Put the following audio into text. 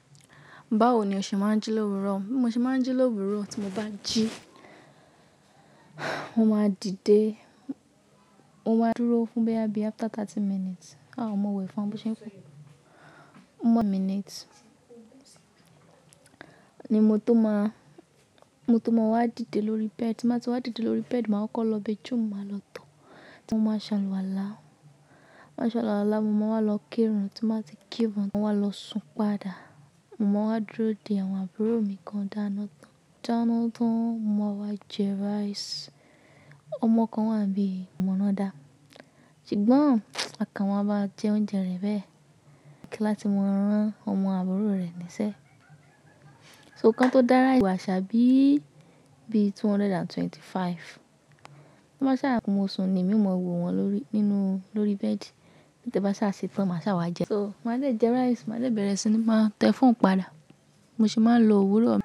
Báwo ni o ṣe máa ń jí l'òwúrò? Bi mo ṣe máa ń jí l'òwúrò tí mo bá jí, mo máa dìde, mo máa dúró fún bóyà bí after thirty minutes. Aà mo wẹ̀ fún wọn, bo ṣe ń fún, one minute ni mo tó máa, mo tó máa wá dìde lórí bed. Tí n bá ti wá dìde lórí bed, màá ọ́ kọ lo bathroom máa lọ tọ̀, tí mo máa ṣàlùwàlá. Máa ṣàlùwàlá, mo máa wá lọ kírun. Tí mo bá ti kírun, màá wá lọ sun padà. Mo máa wá dúró dè àwọn àbúrò mi kan dáná tán. Dáná tán, mo máa wá jẹ rice. Ọmọ kan wà n bí yìí, ko mo náà dà. Ṣùgbọ́n à ko maa ba jẹ oúnjẹ rẹ̀ bẹ́ẹ̀ kí láti máa rán ọmọ àbúrò rẹ̀ níṣẹ́. So kan tó dára ewà ṣá bí i, bí i two hundred and twenty five. To n bá sá, mo sun ni, èmi ó máa wọ̀ wọn lórí, nínú, lórí bedi. Te bá sá ṣetán, màá sá wá jẹ. So máa le jẹ rice, màá de bẹ̀rẹ̀ sí ní máa tẹ phone padà. Mo sì máa ń lo òwúrọ̀.